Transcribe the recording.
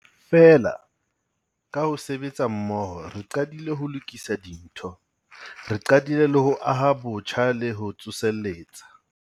Feela, ka ho sebetsa mmoho, re qadile ho lokisa dintho. Re qadile ho aha botjha le ho tsoseletsa.